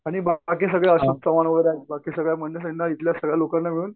आणि बाकी सगळे अशोक चव्हाण वगैरे आहेत बाकी सगळ्या मंडळ्यांना इथल्या सगळ्या लोकांना मिळून